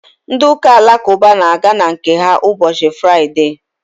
ndị ụka alakụba na-aga nke ha ụbọchị fụraịde